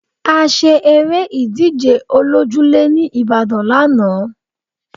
A ṣe eré ìdíje olójúlé ní Ibadan lánàá